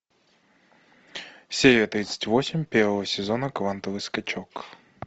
серия тридцать восемь первого сезона квантовый скачок